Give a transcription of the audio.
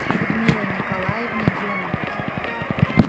людмилой николаевной деминой